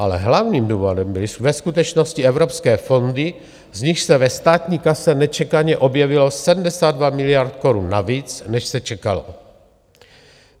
Ale hlavním důvodem byly ve skutečnosti evropské fondy, z nichž se ve státní kase nečekaně objevilo 72 miliard korun navíc, než se čekalo.